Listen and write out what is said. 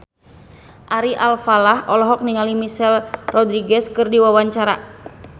Ari Alfalah olohok ningali Michelle Rodriguez keur diwawancara